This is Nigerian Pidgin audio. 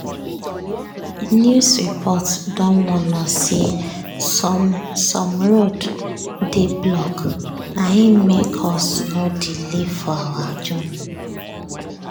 news report don warn us say some some roads dey blocked na im make us nor delay for our journey.